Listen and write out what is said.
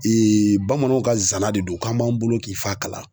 bamananw ka zana de don k'an b'an bolo ki f'a kala.